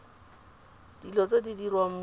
dilo tse di diriwang mo